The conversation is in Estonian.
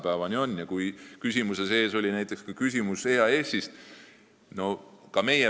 Esitatud küsimuse sees oli ka küsimus EAS-i kohta.